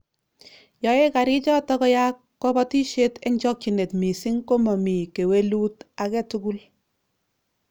Yoei garichito koyaak kobotisiet eng chokchinet missing komomi kewelut age tugul